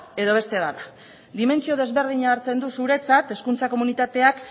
edo beste bat da dimentsio desberdina hartzen du zuretzat hezkuntza komunitateak